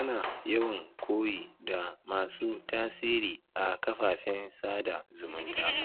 Ana yawan koyi da masu tasiri a kafafen sada zumunta